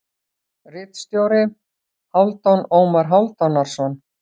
Ritstjóri: Hálfdan Ómar Hálfdanarson.